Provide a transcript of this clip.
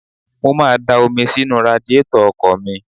Mo má a da omi sínú radiátọ̀ ọkọ̀ mi.